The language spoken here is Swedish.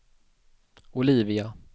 Olivia